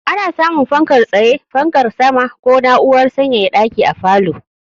Ana samun fankar tsaye, fankar sama ko na'urar sanyaya ɗaki a falo.